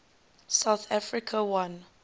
south africa won